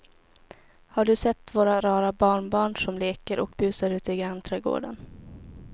Har du sett våra rara barnbarn som leker och busar ute i grannträdgården!